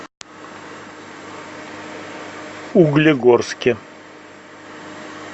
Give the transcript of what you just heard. углегорске